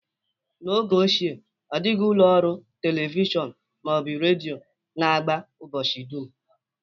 N'oge ochie, ọ dịghị ụlọ ọrụ telivishọn ma ọ bụ redio na-agba ụbọchị dum